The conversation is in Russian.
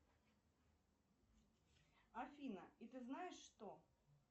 афина и ты знаешь что